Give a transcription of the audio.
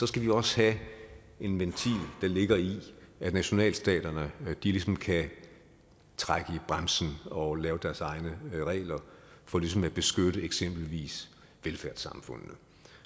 skal vi også have en ventil der ligger i at nationalstaterne ligesom kan trække i bremsen og lave deres egne regler for ligesom at beskytte eksempelvis velfærdssamfundene